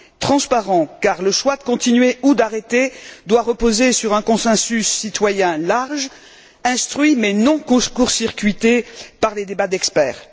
Un débat transparent, car le choix de continuer ou d'arrêter doit reposer sur un consensus citoyen large, instruit mais non court circuité par des débats d'experts.